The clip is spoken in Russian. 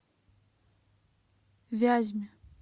вязьме